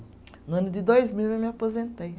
No ano de dois mil eu me aposentei.